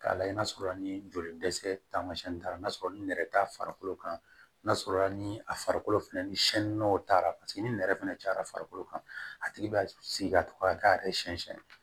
K'a lajɛ n'a sɔrɔ la ni joli dɛsɛ taamasiyɛn taara n'a sɔrɔ ni nɛrɛ ta farikolo kan n'a sɔrɔ la ni a farikolo filɛ nin ye sɛnɛnn'o taara paseke ni nɛrɛ fɛnɛ cayara farikolo kan a tigi b'a sigi ka to ka k'a yɛrɛ siɲɛ siyɛn